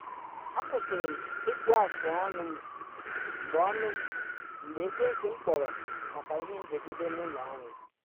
akwụsịlị m ịkpụ afụ ọnụ m mgbe ọnụ m mgbe ekwenti m kpọrọ maka ihe mberede n’ụlọ anyị